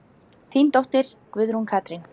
Þín dóttir, Guðrún Katrín.